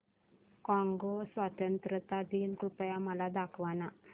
Congo स्वतंत्रता दिन कृपया मला दाखवा